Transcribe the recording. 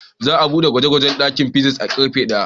Za a buɗe ɗakin gwaje-gwage na fizics a karfe daya.